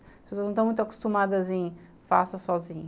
As pessoas não estão muito acostumadas em faça sozinho.